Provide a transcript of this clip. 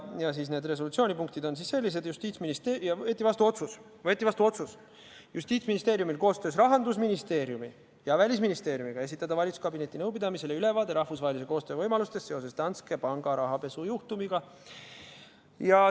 Ja need resolutsiooni punktid olid sellised, et võeti vastu otsus: Justiitsministeeriumil koostöös Rahandusministeeriumi ja Välisministeeriumiga esitada valitsuskabineti nõupidamisele ülevaade rahvusvahelise koostöö võimalustest seoses Danske panga rahapesujuhtumiga.